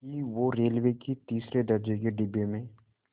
कि वो रेलवे के तीसरे दर्ज़े के डिब्बे में